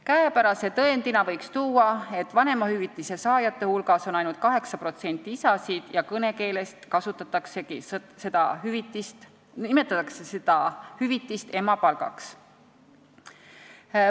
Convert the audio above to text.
Käepärase tõendina võib tuua, et vanemahüvitise saajate hulgas on ainult 8% isasid ja kõnekeeles nimetataksegi seda hüvitist emapalgaks.